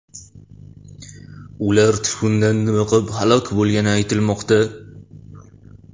Ular tutundan dimiqib halok bo‘lgani aytilmoqda.